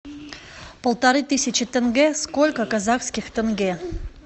полторы тысячи тенге сколько казахских тенге